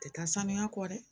Tɛ taa saniya kɔ dɛ